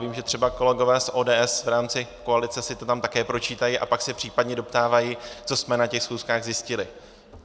Vím, že třeba kolegové z ODS v rámci koalice si to tam také pročítají a pak se případně doptávají, co jsme na těch schůzkách zjistili.